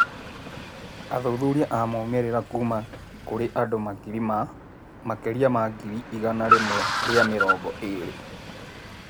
Athuthuria a moimĩrĩra kuuma kũrĩ andũ makĩria ma ngirĩ igana rĩmwe rĩa mĩrongo ĩrĩ.